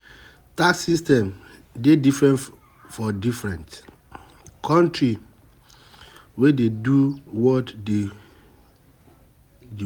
Tax system dey different for different country wey dey do what dey